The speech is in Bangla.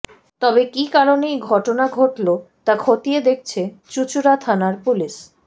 তবে কি কারণে এই ঘটনা ঘটল তা খতিয়ে দেখছে চুঁচুড়া থানার পুলিশ